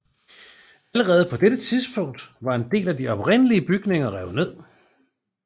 Allerede på dette tidspunkt var en del af de oprindelige bygninger revet ned